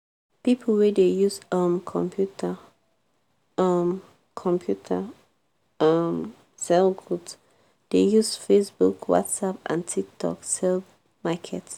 pipo wey dey use um computer um computer um sell goods dey use facebook whatsapp and tiktok sell market.